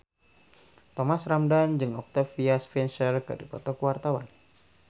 Thomas Ramdhan jeung Octavia Spencer keur dipoto ku wartawan